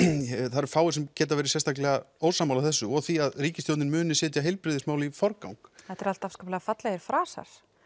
það eru fáir sem geta verið sérstaklega ósammála þessu og því að ríkisstjórnin muni setja heilbrigðismál í forgang þetta er allt afskaplega fallegir frasar